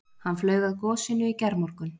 Hann flaug að gosinu í gærmorgun